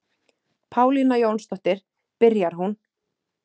Pálína Jónsdóttir, byrjar hún.